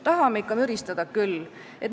" Tahame ikka müristada küll.